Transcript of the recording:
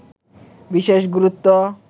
বিশেষ গুরুত্ব